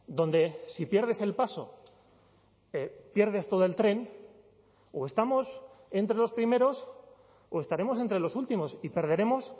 donde si pierdes el paso pierdes todo el tren o estamos entre los primeros o estaremos entre los últimos y perderemos